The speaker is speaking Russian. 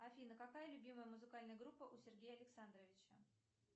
афина какая любимая музыкальная группа у сергея александровича